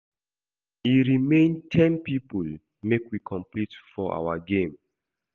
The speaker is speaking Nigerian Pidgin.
E remain ten people make we complete for our game